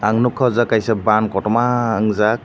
ang nogka o jaga kaisa bann kotorma wng jak.